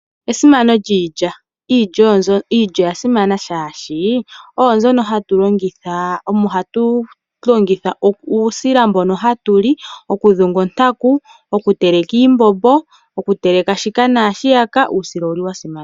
Esimano lyiilya, iilya oya simana oshoka oyo mbyono ha mu zi uusila mbono ha tu li, okudhunga ontaku, okuteleka iimbombo noshowo okuteleka shika naashiyaka.